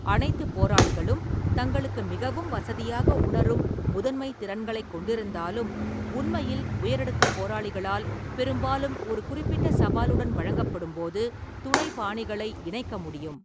அனைத்து போராளிகளும் தங்களுக்கு மிகவும் வசதியாக உணரும் முதன்மை திறன்களைக் கொண்திருந்தாலும், உண்மையில் உயரடுக்கு போராளிகளால் பெரும்பாலும் ஒரு குறிப்பிட்ட சவாலுடன் வழங்கப்படும்போது துணை பாணிகளை இணைக்க முடியும்.